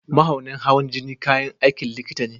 Mahaunin hawan jini kayan aikin likita ne.